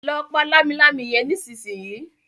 lọ pá Lámilámi yén nísìsiyìí!